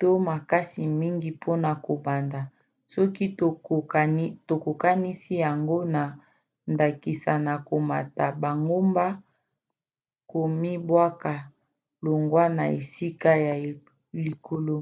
to makasi mingi mpona kobanda soki tokokanisi yango na ndakisa na komata bangomba komibwaka longwa na esika ya likolo